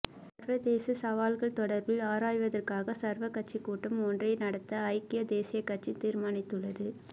சர்வதேச சவால்கள் தொடர்பில் ஆராய்வதற்காக சர்வகட்சி கூட்டம் ஒன்றை நடத்த ஐக்கிய தேசிய கட்சி தீர்மானித்துள்ளது